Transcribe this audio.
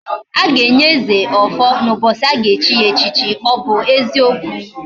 Aga enye eze, ofo na ubochi aga echi ya echichi. o bu eziokwu?